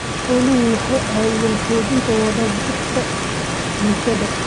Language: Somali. Xooluhu waxay caawiyaan xoojinta wada jirka bulshada.